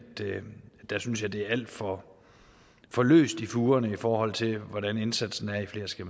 jeg synes det er alt for for løst i fugerne i forhold til hvordan indsatsen er i flere skal